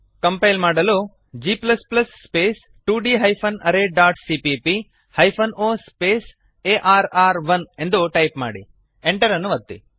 compile ಮಾಡಲುg 2d arrayಸಿಪಿಪಿ -o ಆರ್ರ್1 ಜಿ ಸ್ಪೇಸ್ 2d arrayಸಿಪಿಪಿ hyphen O space A R R one ಎಂದು ಟೈಪ್ ಮಾಡಿ Enter ಅನ್ನು ಒತ್ತಿ